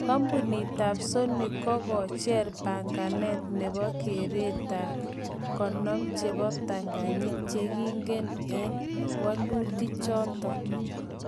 Kompunit tab Sony kokocher panganet nebo keret 50 chebo ptanganyit che kige me ak wolutik choton